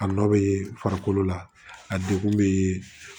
A nɔ bɛ farikolo la a degun bɛ